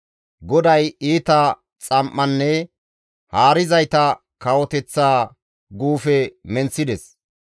GODAY iita xam7anne haarizayta kawoteththa guufe menththides.